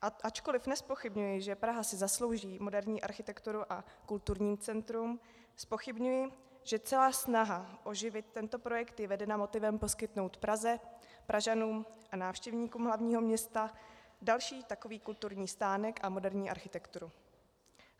Ačkoliv nezpochybňuji, že Praha si zaslouží moderní architekturu a kulturní centrum, zpochybňuji, že celá snaha oživit tento projekt je vedena motivem poskytnout Praze, Pražanům a návštěvníkům hlavního města další takový kulturní stánek a moderní architekturu.